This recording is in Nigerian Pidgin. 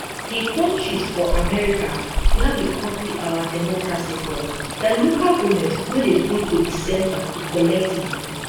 di counties for america wia we copy our democracy from dia local goments no dey go to di centre to collect money